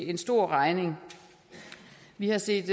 en stor regning vi har set